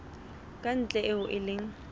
ka ntle eo e leng